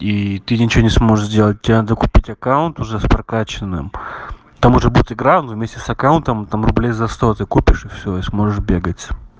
и ты ничего не сможешь делать тебе надо купить аккаунт уже с прокаченным там уже будет игра ну вместе с аккаунтом там рублей за сто ты купишь и всё и сможешь бегать